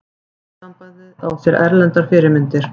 Orðasambandið á sér erlendar fyrirmyndir.